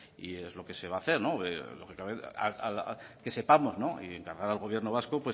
eso es lo que se va a hacer que sepamos y encargar al gobierno vasco